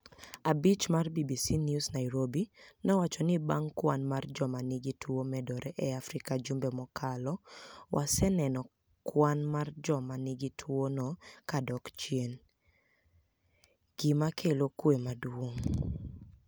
Abich mar BBC ni ews niairobi nowacho nii banig' kwani mar joma niigi tuo medore e Afrika jumbe mokalo waseni eno kwani mar joma niigi tuono ka dok chieni, eni gima kelo kwe maduonig